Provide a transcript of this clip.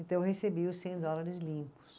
Então eu recebi os cem dólares limpos.